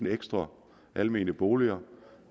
ekstra almene boliger